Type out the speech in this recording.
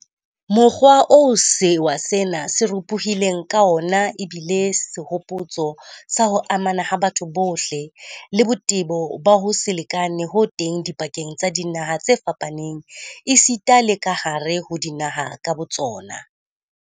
Mokgwa oo sewa sena se ropo-hileng ka wona ebile sehopotso sa ho amana ha batho bohle, le botebo ba ho se lekane ho teng dipakeng tsa dinaha tse fapaneng esita le kahare ho dinaha ka botsona.